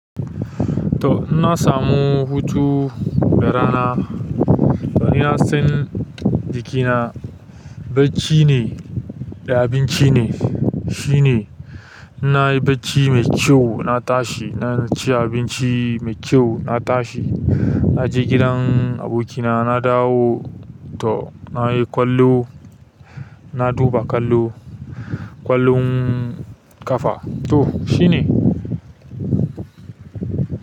To in na samu hutu da rana, to ni na san jikina. Bacci ne da abinci ne. Shi ne. Na yi bacci mai kyau na tashi, na ci abinci mai kyau na tashi. Na je gidan abokina na dawo to na yi ƙwallo, na duba ƙwallo, ƙwallon ƙafa. Toh shine.